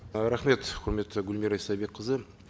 рахмет құрметті гүлмира истайбекқызы